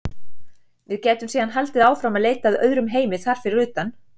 Við gætum síðan haldið áfram að leita að öðrum heimi þar fyrir utan.